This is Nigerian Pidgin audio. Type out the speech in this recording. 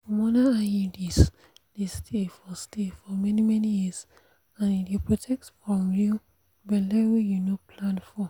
hormonal iuds dey stay for stay for many-many years and e dey protect from you belle wey you no plan for.